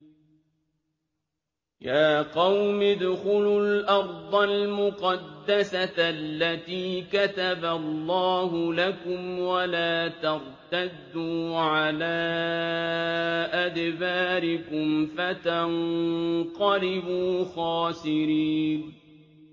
يَا قَوْمِ ادْخُلُوا الْأَرْضَ الْمُقَدَّسَةَ الَّتِي كَتَبَ اللَّهُ لَكُمْ وَلَا تَرْتَدُّوا عَلَىٰ أَدْبَارِكُمْ فَتَنقَلِبُوا خَاسِرِينَ